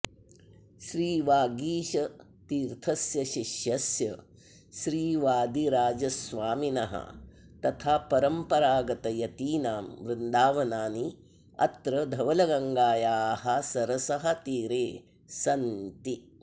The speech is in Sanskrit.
श्रीवागीशतीर्थस्य शिष्यस्य श्रीवादिराजस्वामिनः तथा परम्परागतयतीनां वृन्दावनानि अत्र धवलगङ्गायाः सरसः तीरे सन्ति